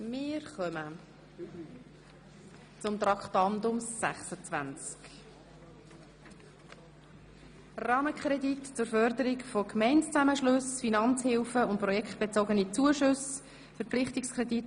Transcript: Wir kommen zu Traktandum 26, dem Rahmenkredit zur Förderung von Gemeindezusammenschlüssen, einem Verpflichtungskredit 2018 bis 2021.